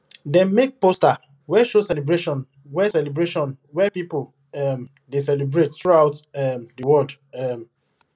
dem make poster wey show celebrations wey celebrations wey people um dey celebrate throughtout um the world um